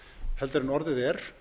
heldur en orðið er